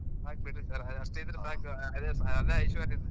ಸಾಕ್ ಬಿಡ್ರಿ sir ಅಷ್ಟ್ ಇದ್ರ್ ಸಾಕ್ ಅದೆ ಐಶ್ವರ್ಯ.